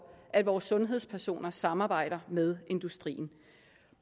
at vores sundhedspersoner samarbejder med industrien